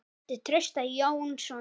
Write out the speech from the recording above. eftir Trausta Jónsson